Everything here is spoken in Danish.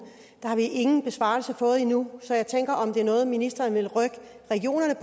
har ingen besvarelse fået endnu så jeg tænker om det er noget ministeren vil rykke regionerne